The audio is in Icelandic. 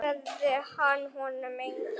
Svaraði hann honum engu.